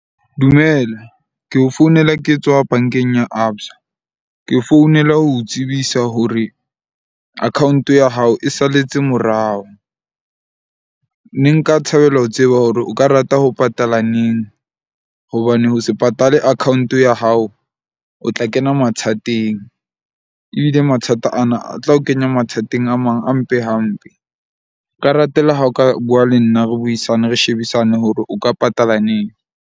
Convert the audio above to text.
Dumela, ke o founela ke tswa bank-eng ya Absa. Ke founela ho o tsebisa hore account-o ya hao e salletse morao. Ne nka thabela ho tseba hore o ka rata ho patala neng? Hobane ho se patale account-o ya hao, o tla kena mathateng ebile mathata ana a tla o kenya mathateng a mang a mpe hampe. Nka ratela ha o ka bua le nna re buisane, re shebisane hore o ka patala neng.